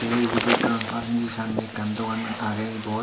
te ebot ekkan pharmacy sanne ekkan dogan aage ebot.